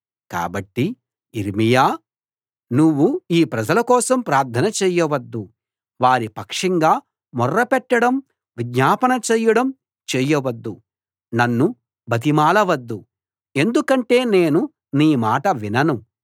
కాబట్టి యిర్మీయా నువ్వు ఈ ప్రజల కోసం ప్రార్థన చేయవద్దు వారి పక్షంగా మొర్రపెట్టడం విజ్ఞాపన చేయడం చేయవద్దు నన్ను బతిమాలవద్దు ఎందుకంటే నేను నీ మాట వినను